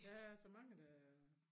Der er så mange der